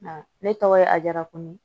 Ne tɔgɔ ye ajara ko